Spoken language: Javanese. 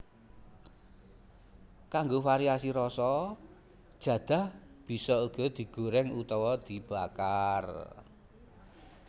Kanggo variasi rasa jadah bisa uga digorèng utawa dibakar